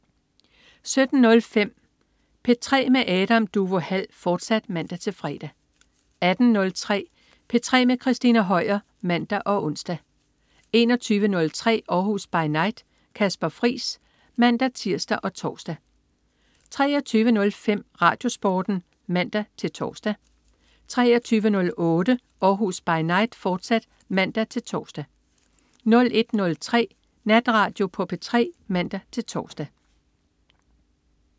17.05 P3 med Adam Duvå Hall, fortsat (man-fre) 18.03 P3 med Christina Høier (man og ons) 21.03 Århus By Night. Kasper Friis (man-tirs og tors) 23.05 RadioSporten (man-tors) 23.08 Århus By Night, fortsat (man-tors) 01.03 Natradio på P3 (man-tors)